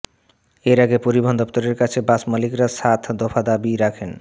এর আগে পরিবহণ দফতরের কাছে বাস মালিকরা সাত দফা দাবি রাখেন